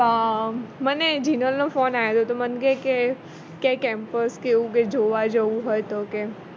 મને જિનલનો ફોન આવ્યો તો મને કેય કે campus કે એવું કઈ જોવા જવું હોઈ તો કે